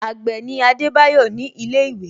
Agbe ni Adebayo ni ile iwe